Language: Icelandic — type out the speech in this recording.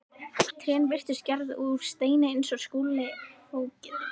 Trén virtust gerð úr steini eins og Skúli fógeti.